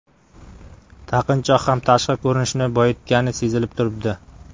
Taqinchoq ham tashqi ko‘rinishni boyitgani sezilib turibdi.